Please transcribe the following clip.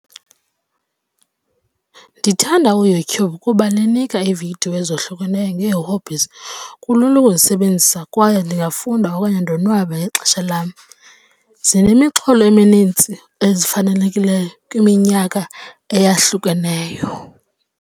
Ndithanda uYouTube kuba linika iividiyo ezohlukeneyo ngee-hobbies. Kulula ukuzisebenzisa kwaye ndingafunda okanye ndonwabe ngexesha lam. Zinemixholo eminintsi ezifanelekileyo kwiminyaka eyahlukeneyo.